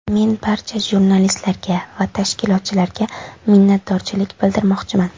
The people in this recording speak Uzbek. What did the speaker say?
Men barcha jurnalistlarga va tashkilotchilarga minnatdorchilik bildirmoqchiman.